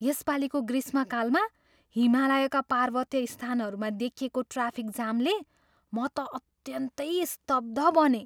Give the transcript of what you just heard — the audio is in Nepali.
यसपालीको ग्रीष्मकालमा हिमालयका पार्वत्य स्थानहरूमा देखिएको ट्राफिक जामले म त अत्यन्तै स्तब्ध बनेँ।